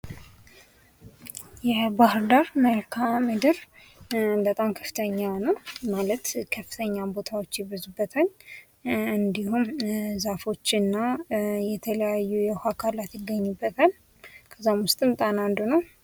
የባህር ዳር መልካምድር በጣም ከፍተኛ ነው ማለት ከፍተኛ ቦታዎች ይበዙበታል እንዲሁም ዛፎችና የተለያዩ አካላት ይገኙበታል ከዚአም ውስጥም ጣና አንዱ ነው።